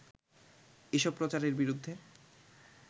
এসব প্রচারের বিরুদ্ধে